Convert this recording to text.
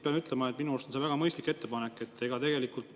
Pean ütlema, et minu arust on see väga mõistlik ettepanek.